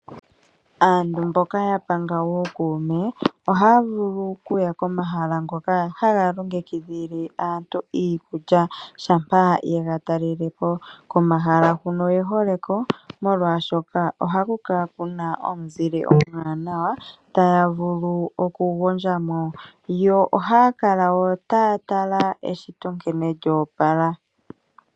Aantu mboka yapanga uukuume ohaya vulu okuya komahala ngoka haga longekidhile aantu iikulya shampa yega talelepo. Komahala huno oye hole ko molwashoka ohaku kala kuna omuzile omwanawa taya vulu okugondjamo. Yo ohaya kala wo taya tala eshito nkene lyoopala.